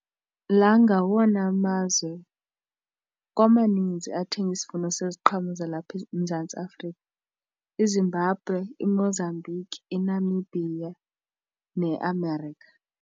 La ngawona mazwe kwamanzi athenga isivuno seziqhamo zalapha eMzantsi Afrika, iZimbabwe, iMozambique iNamibia neAmerica.